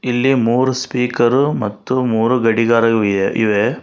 ಇಲ್ಲಿ ಮೂರು ಸ್ಪೀಕರ್ ಮತ್ತು ಮೂರು ಗಡಿಗಾರವೂ ಇದೆ ಇವೆ.